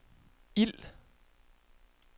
ild